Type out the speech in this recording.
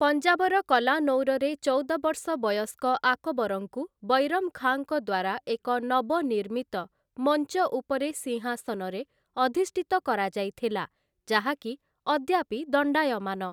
ପଞ୍ଜାବର କଲାନୌରରେ ଚଉଦ ବର୍ଷ ବୟସ୍କ ଆକବରଙ୍କୁ ବୈରମ୍ ଖାଁଙ୍କ ଦ୍ଵାରା ଏକ ନବନିର୍ମିତ ମଞ୍ଚଉପରେ ସିଂହାସନରେ ଅଧିଷ୍ଠିତ କରାଯାଇଥିଲା, ଯାହାକି ଅଦ୍ୟାପି ଦଣ୍ଡାୟମାନ ।